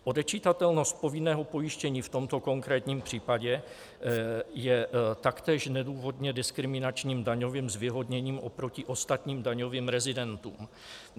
Odečitatelnost povinného pojištění v tomto konkrétním případě je taktéž nedůvodně diskriminačním daňovým zvýhodněním oproti ostatním daňovým rezidentům.